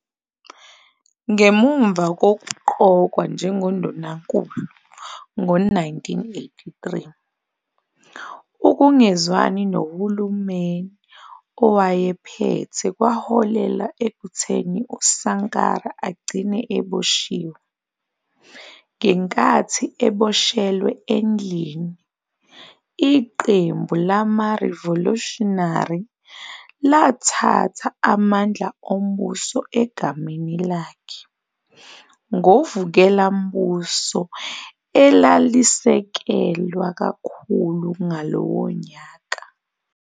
Ngemuva kokuqokwa njengoNdunankulu ngo-1983, ukungezwani nohulumeni owayephethe kwaholela ekutheni uSankara agcine eboshiwe. Ngenkathi eboshelwe endlini, iqembu lamarivolushinary, lathatha amandla ombuso egameni lakhe, ngovukelambuso alalesekelwa kakhulu ngalowo nyaka.